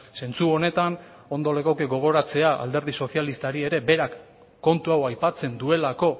zentsu honetan ondo legoke gogoratzea alderdi sozialistari ere berak kontu hau aipatzen duelako